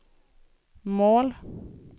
mål